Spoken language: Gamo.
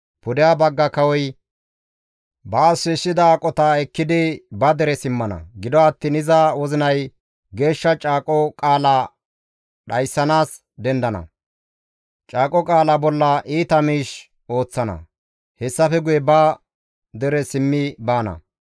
Pudeha bagga kawoy baas shiishshida aqota ekkidi ba dere simmana; gido attiin iza wozinay geeshsha caaqo qaala dhayssanaas dendana; caaqo qaala bolla iita miish ooththana; hessafe guye ba dere simmi baana.